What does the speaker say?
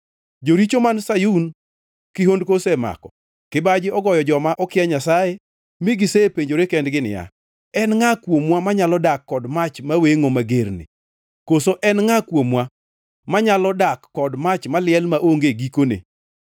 Joricho man Sayun, kihondko osemako; kibaji ogoyo joma okia nyasaye, mi gisepenjore kendgi niya, “En ngʼa kuomwa manyalo dak kod mach mawengʼo magerni? Koso en ngʼa kuomwa manyalo dak kod mach maliel maonge gikone?”